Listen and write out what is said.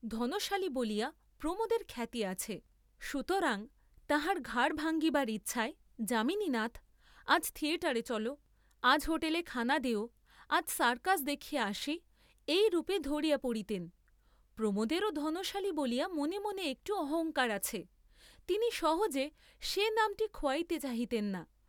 ধনশালী বলিয়া প্রমোদের খ্যাতি আছে, সুতরাং তাঁহার ঘাড় ভাঙ্গিবার ইচ্ছায় যামিনীনাথ, আজ থিয়েটারে চল, আজ হোটেলে খানা দেও, আজ সারকস দেখিয়া আসি, এইরূপ ধরিয়া পড়িতেন, প্রমোদেরও ধনশালী বলিয়া মনে মনে একটু অহঙ্কার আছে, তিনিও সহজে সে নামটি খোয়াইতে চাহিতেন না।